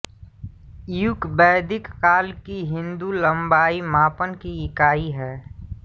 यूक वैदिक काल की हिन्दू लम्बाई मापन की इकाई है